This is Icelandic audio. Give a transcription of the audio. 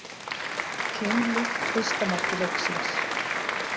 Keimlíkt fyrsta marki leiksins